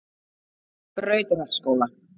Brautarholtsskóla